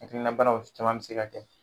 Hakilibana o caman be se ka kɛ